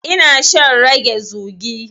Eh, ina shan rage zugi.